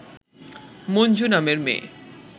মঞ্জু নামের মেয়ে